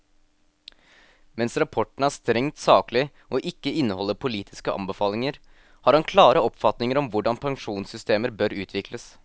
Mens rapporten er strengt saklig og ikke inneholder politiske anbefalinger, har han klare oppfatninger om hvordan pensjonssystemer bør utvikles.